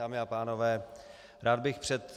Dámy a pánové, rád bych před